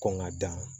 Kɔn ka dan